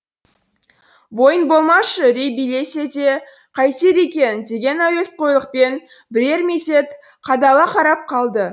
бойын болмашы үрей билесе де қайтер екен деген әуесқойлықпен бірер мезет қадала қарап қалды